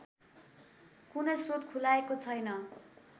कुनै स्रोत खुलाएको छैन